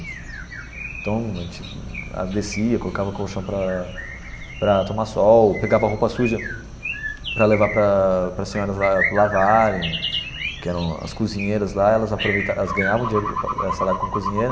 Então a gente descia, colocava o colchão para para tomar sol, pegava roupa suja para levar para para as senhoras lá lavarem, que eram as cozinheiras lá, elas aproveitavam, elas ganhavam dinheiro salário como cozinheira,